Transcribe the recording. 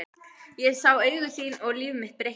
Ég sá augu þín og líf mitt breyttist.